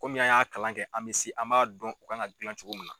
Komi an y'a kalan kɛ an bɛ an b'a dɔn o kan ka gilan cogo min na.